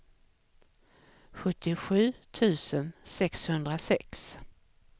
sjuttiosju tusen sexhundrasex